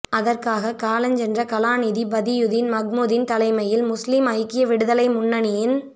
அதற்காக காலஞ்சென்ற கலாநிதி பதியுதீன் மஹ்மூதின் தலைமையில் முஸ்லிம் ஐக்கிய விடுதலை முன்னணியின்